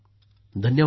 धन्यवाद सर